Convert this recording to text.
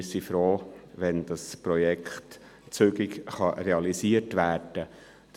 Wir sind froh, wenn dieses Projekt zügig realisiert werden kann.